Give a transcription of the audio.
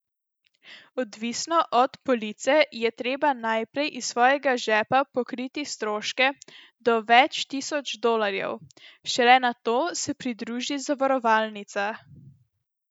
Odvisno od police, je treba najprej iz svojega žepa pokriti stroške do več tisoč dolarjev, šele nato se pridruži zavarovalnica.